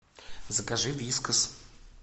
закажи вискас